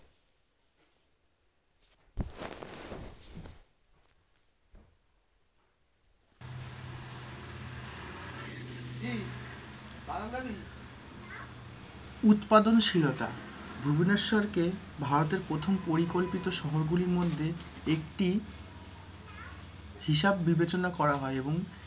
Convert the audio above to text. উৎপাদনশীলতা, ভুবনেশ্বরকে ভারতের প্রথম পরিকল্পিত শহর গুলির মধ্যে একটি হিসাব বিবেচনা করা হয় এবং,